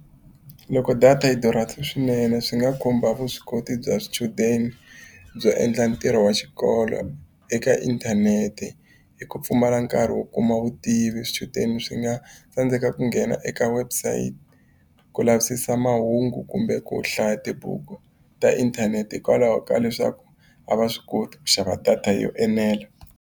Loko data yi durha swinene swi nga khumba vuswikoti bya swichudeni, byo endla ntirho wa xikolo eka inthanete. Hi ku pfumala nkarhi wo kuma vutivi swichudeni swi nga tsandzeka ku nghena eka website ku lavisisa mahungu kumbe ku hlaya tibuku ta inthanete, hikwalaho ka leswaku a va swi koti ku xava data yo enela.